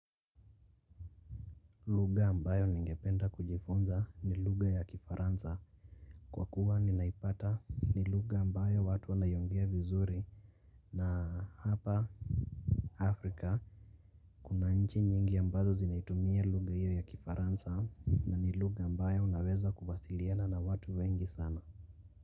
Lugha ambayo ningependa kujifunza ni lugha ya kifaransa kwa kuwa ninaipata ni lugha ambayo watu wanayongea vizuri na hapa Afrika kuna nchi nyingi ambazo zinaitumia lugha hiyo ya kifaransa na ni lugha ambayo unaweza kuwasiliana na watu wengi sana.